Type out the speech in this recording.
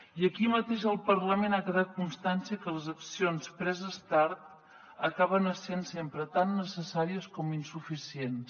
i aquí mateix al parlament ha quedat constància que les accions preses tard acaben essent sempre tan necessàries com insuficients